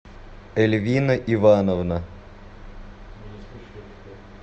эльвина ивановна